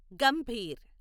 Gambhir